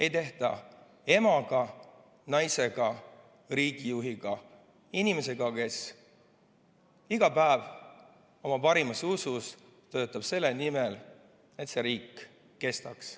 Ei tehta emaga, naisega, riigijuhiga, inimesega, kes iga päev oma parimas usus töötab selle nimel, et see riik kestaks.